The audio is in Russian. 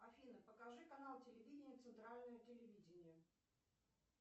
афина покажи канал телевидения центральное телевидение